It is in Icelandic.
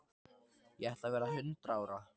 Ég ætla að verða hundrað ára.